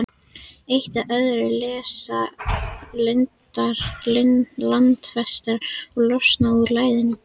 Eitt af öðru leysa þau landfestar og losna úr læðingi.